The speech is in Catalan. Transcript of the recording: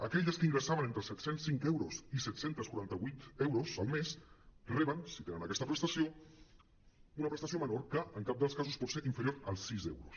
aquelles que ingressaven entre set·cents cinc euros i set·cents quaranta·vuit euros al mes reben si tenen aquesta prestació una prestació menor que en cap dels casos pot ser inferior als sis euros